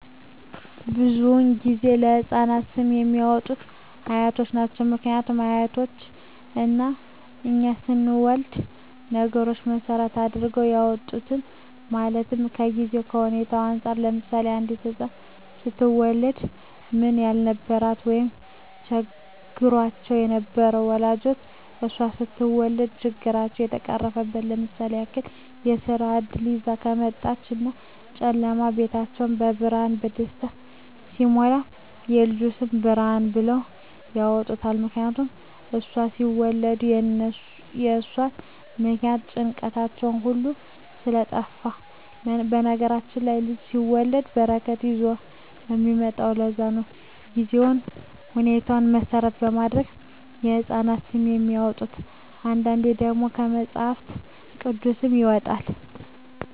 ብዙዉን ጊዜ ለህፃናት ስም የሚያወጡት አያት ናቸዉ ምክንያቱም አያቶቻችን እኛ ስንወለድ ነገሮች መሰረት አድርገዉ ያወጡልናል ማለትም ከጊዜዉ ከሁኔታዉ እንፃር ለምሳሌ አንዲት ህፃን ስትወለድ ምንም ያልነበራቸዉ ወይም ቸግሯቸዉ የነበሩ ወላጆቿ እሷ ስትወለድ ችግራቸዉ ከተፈቀረፈ ለምሳሌ ያክል የስራ እድል ይዛ ከመጣች እና ጨለማዉ ቤታቸዉ በብርሃን በደስታ ሲሞላ የልጅቱ ስም ብርሃን ብለዉ ያወጡላታል ምክንያቱም እሷን ሲወልዱ በእርሷ ምክንያት ጭንቀታቸዉ ሁሉ ስለጠፍ በነገራችን ላይ ልጅ ሲወለድ በረከት ይዞ ነዉ የሚመጣዉ ለዛ ነዉ ጊዜዎችን ሁኔታዎች መሰረት በማድረግ የህፃናት ስም የሚወጣዉ አንዳንዴ ደግሞ ከመፅሀፍ ቅዱስም ይወጣል